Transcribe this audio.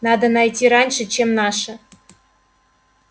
надо найти раньше чем наши